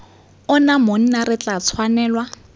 ona monna re tla tshwanelwa